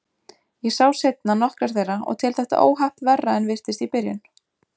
Ég sá seinna nokkrar þeirra og tel þetta óhapp verra en virtist í byrjun.